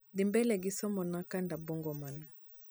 dhi mbele gi somona kanda bongo man